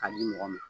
K'a di mɔgɔ ma